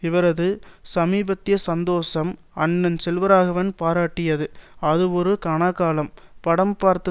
இவரது சமீபத்திய சந்தோஷம் அண்ணன் செல்வராகவன் பாராட்டியது அது ஒரு கனாக்காலம் படம் பார்த்த